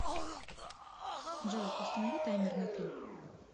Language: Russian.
джой установи таймер на три